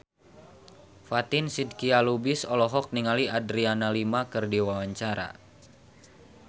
Fatin Shidqia Lubis olohok ningali Adriana Lima keur diwawancara